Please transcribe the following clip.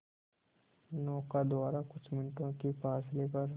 नौका द्वारा कुछ मिनटों के फासले पर